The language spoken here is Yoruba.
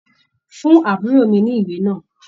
Fún àbúrò mi ní ìwé náà.